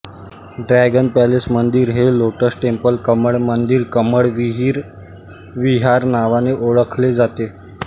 dragon palace मंदिर हे lotus temple कमळ मंदिरकमळ विहार नावाने ओळखले जाते